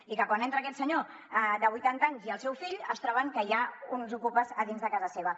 i que quan entren aquest senyor de vuitanta anys i el seu fill es troben que hi ha uns ocupes a dins de casa seva